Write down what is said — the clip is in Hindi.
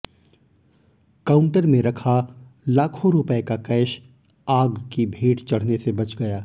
काऊंटर में रखा लाखों रुपए का कैश आग की भेंट चढ़ने से बच गया